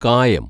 കായം